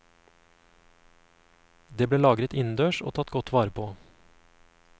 Det ble lagret innendørs og tatt godt vare på.